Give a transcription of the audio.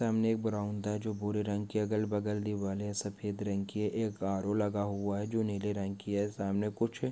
सामने एक बरौंदा है जो भूरे रंग की अगल-बगल दीवारे हैं सफ़ेद रंग की हैं एक आरो लगा हुआ है जो नीले रंग की है सामने कुछ --